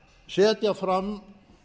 setja fram